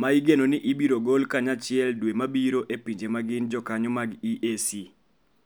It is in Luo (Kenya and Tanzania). ma igeno ni ibiro gol kanyachiel dwe mabiro e pinje ma gin jokanyo mag EAC.